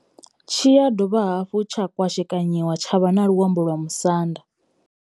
Tshi ya dovha hafhu tsha kwashekanyiwa tsha vha na luambo lwa Musanda.